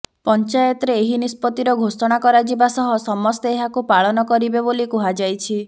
ପଞ୍ଚାୟତରେ ଏହି ନିଷ୍ପତ୍ତିର ଘୋଷଣା କରାଯିବା ସହ ସମସ୍ତେ ଏହାକୁ ପାଳନ କରିବେ ବୋଲି କୁହାଯାଇଛି